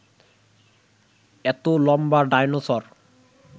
এত লম্বা ডায়নোসর